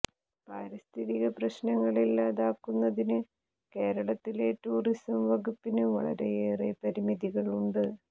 പാരിസ്ഥിതിക പ്രശ്നങ്ങൾ ഇല്ലാതാക്കുന്നതിന് കേരളത്തിലെ ടൂറിസം വകുപ്പിന് വളരെയേറെ പരിമിതികൾ ഉണ്ട്